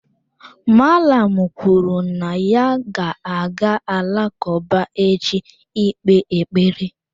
Mallam kwuru na ya ga-aga alakụba echi ị kpee ekpere.